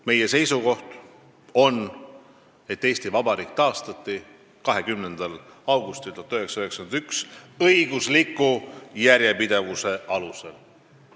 Meie seisukoht on, et Eesti Vabariik taastati 20. augustil 1991 õigusliku järjepidevuse alusel.